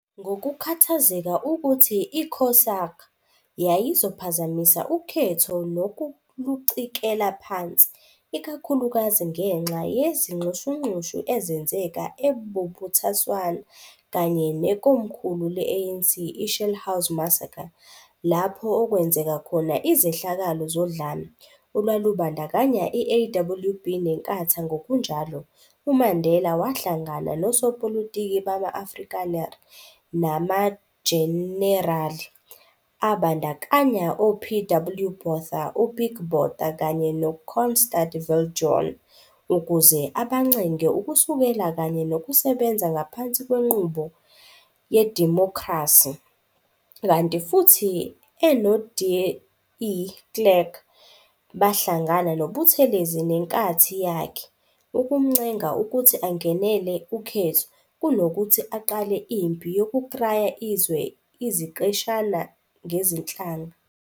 Ngokukhathazeka ukuthi i-COSAG yayizophazamisa ukhetho nokulucikela phansi, ikakhulukazi ngenxa yezinxushunxushu ezenzeka e-Bophuthatswana kanye nekomkhulu le-ANC i-Shell House Massacre - lapho okwenzeka khona izehlakalo zodlame, olwalubandakanya i-AWB neNkatha ngokunjalo, uMandela wahlangana nosopolitiki bama-Afrikaner, namajenerali, abandakanya o-P. W. Botha, uPik Botha kanye nooConstand Viljoen, ukuze abancenge ukusekela kanye nokusebenza ngaphansi kwenqubo yedimokhrasi, kanti futhi enoDe Klerk bahlangana noButhelezi neNkathi yakhe, ukumncenga ukuthi angenele ukhetho, kunokuthi aqale impi yokukraya izwe iziqeshana ngezinhlanga.